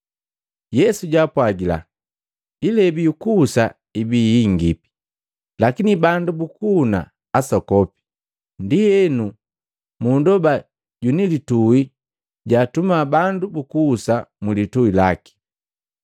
Yesu jaapwagila, “Ilebi yukuhusa ibii hingipi, lakini bandu bukuhuna asokopi. Ndienu, munndoba jwini lituhi jaatuma bandu bukuhusa mulitui laki.